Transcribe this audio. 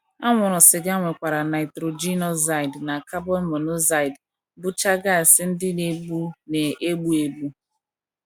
Anwụrụ siga nwekwara nitrogen oxide na carbon monoxide, bụcha gas ndị na - egbu na - egbu egbu.